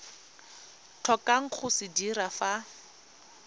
tlhokang go se dira fa